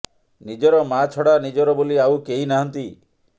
ନିଜର ମା ଛଡା ନିଜର ବୋଲି ଆଉ କେହି ନାହାନ୍ତି